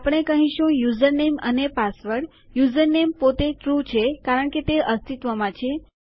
આપણે કહીશું યુઝરનેમ અને પાસવર્ડ યુઝરનેમ પોતે ટ્રૂ છે કારણ કે તે અસ્તિત્વમાં છે